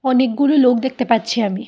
অনেকগুলো লোক দেখতে পাচ্ছি আমি।